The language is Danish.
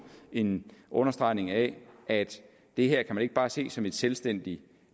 en understregning af at det her kan man ikke bare se som en selvstændig